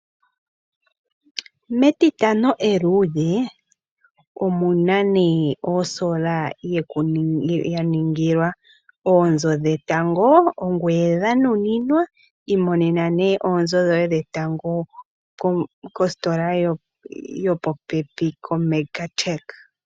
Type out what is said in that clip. MEtitano eluudhe, omu na nee osola ya ningila oonzo dhetango, ongoye dha nuninwa, imonena nee oonzo dhoye dhetango kostola yopopepi koMegatech.